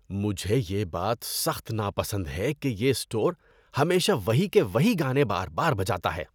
مجھے یہ بات سخت ناپسند ہے کہ یہ اسٹور ہمیشہ وہی کہ وہی گانے بار بار بجاتا ہے۔